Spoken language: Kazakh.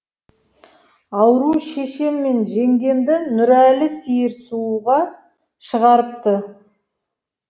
ауру шешем мен жеңгемді нұрәлі сиыр сууға шығарыпты